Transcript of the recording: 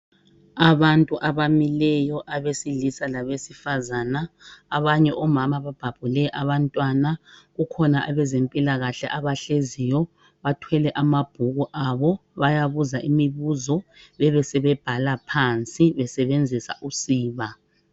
Abantu abamileyo abesilisa labesifazana, abanye omama babhabhule abantwana. Kukhona abezempilakahle abahleziyo bathwele amabhuku abo .Bayabuza imibuzo bebesebebhala phansi besebenzisa usiba.